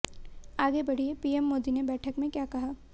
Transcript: आगे पढ़िए पीएम मोदी ने बैठक में क्या कहा